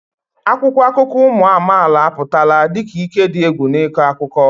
Akwụkwọ akụkọ ụmụ amaala apụtala dị ka ike dị egwu n'ịkọ akụkọ.